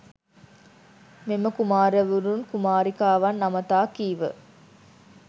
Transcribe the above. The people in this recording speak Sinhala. මෙම කුමාරවරුන් කුමාරිකාවන් අමතා කීව